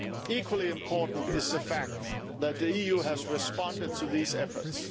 Equally important is the fact that the EU has responded to these efforts.